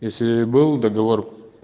если был договор